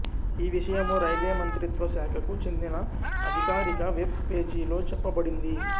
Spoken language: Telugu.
ఈ విషయము రైల్వే మంత్రిత్వ శాఖకు చెందిన అధికారిక వెబ్ పేజీలో చెప్పబడింది